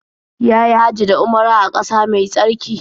Ya yi Hajji da Umara a ƙasa mai tsarki.